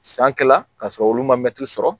San kɛla ka sɔrɔ olu ma sɔrɔ